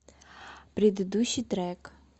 предыдущий трек